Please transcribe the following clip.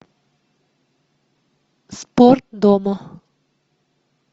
спорт дома